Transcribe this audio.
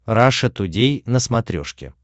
раша тудей на смотрешке